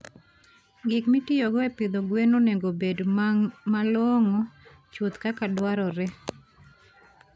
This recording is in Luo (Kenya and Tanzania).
Gik mitiyogo e pidho gwen onego obed malong'o chuth kaka dwarore.